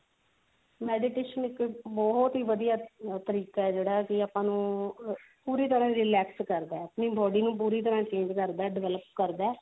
meditation ਇੱਕ ਬਹੁਤ ਹੀ ਵਧੀਆ ਤਰੀਕਾ ਹੈ ਜਿਹੜਾ ਕੀ ਆਪਾਂ ਨੂੰ ਪੂਰੀ ਤਰਾਂ ਰੇਲਾਕ੍ਸ ਕਰਦਾ ਹੈ body ਨੂੰ ਪੂਰੀ ਤਰਾਂ change ਕਰਦਾ ਹੈ develop ਕਰਦਾ ਹੈ